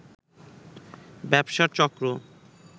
ব্যবসা চক্র